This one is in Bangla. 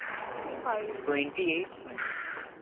Twenty fiveTwenty eights minute না